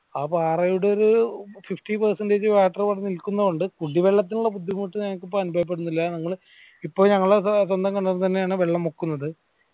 ആ പാറകളുടെത് fifty percentage water അവിടെ നിൽക്കുന്നോന്മ്ട് കുടി വെള്ളത്തിനുള്ള ബുദ്ധിമുട്ട് ഇപ്പൊ അനുഭവപ്പെടുന്നില്ല ഞങ്ങൾ ഇപ്പൊ ഞങ്ങൾ സ്വന്തം കിണറിൽ നിന്നാണ് വെള്ള മുക്കുന്നത്